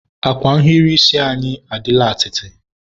akwa nhiri isi anyị adịla atịtị.